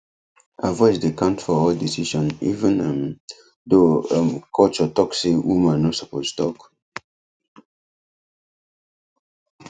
her voice dey count for all decision even um though um culture talk say woman no suppose talk